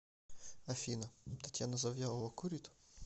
афина татьяна завьялова курит